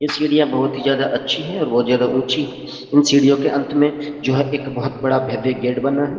ये सीढियां बहुत ही ज्यादा अच्छी हैं और बहुत ज्यादा ऊंची है इन सीढियों के अंत में जो है एक बहुत बड़ा भव्य गेट बना है।